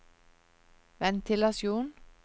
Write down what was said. ventilasjon